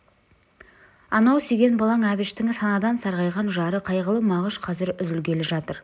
анау сүйген балаң әбіштің санадан сарғайған жары қайғылы мағыш қазір үзілгелі жатыр